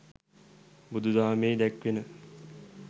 බුදුදහමෙහි දැක්වෙන